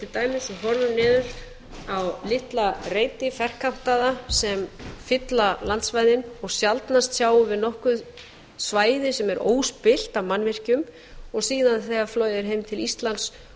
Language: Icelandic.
dæmis þegar við horfum niður á litla reiti ferkantaða sem fylla landsvæði og sjaldnast sjáum við nokkurt svæði sem er óspillt af mannvirkjum og síðan þegar flogið er heim til íslands